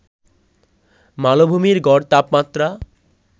মালভূমির গড় তাপমাত্রা